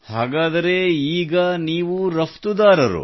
ಹಾಗಾದರೆ ಈಗ ನೀವು ರಫ್ತುದಾರರು